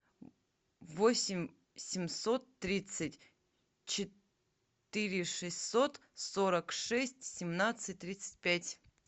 восемь семьсот тридцать четыре шестьсот сорок шесть семнадцать тридцать пять